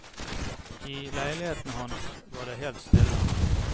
I leiligheten hans var det helt stille.